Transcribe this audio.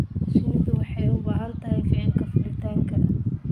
Shinnidu waxay u baahan tahay ficilka fuulitaanka.